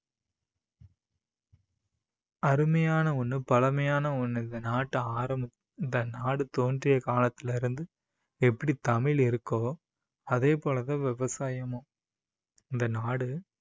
அருமையான ஒண்ணு பழமையான ஒண்ணு, இந்த நாட்டை ஆரம்~ இந்த நாடு தோன்றிய காலத்துல இருந்து எப்படி தமிழ் இருக்கோ அதே போல தான் விவசாயமும். இந்த நாடு